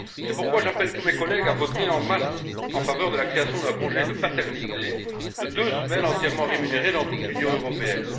C'est pourquoi j'appelle tous mes collègues à voter en masse en faveur de la création d'un congé de paternité de deux semaines entièrement rémunéré dans toute l'Union européenne.